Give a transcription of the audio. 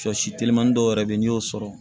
Sɔ si telimani dɔw yɛrɛ bɛ yen n'i y'o sɔrɔ